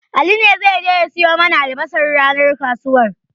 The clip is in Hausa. Ali ne zai je ya siyo mana albasar ranar kasuwar.